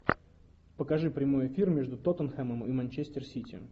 покажи прямой эфир между тоттенхэмом и манчестер сити